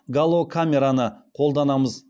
галокамераны қолданамыз